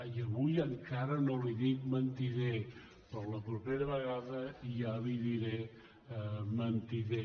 i avui encara no li dic mentider però la propera vegada ja li diré mentider